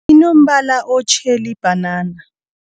Inombala otjheli ibhanana.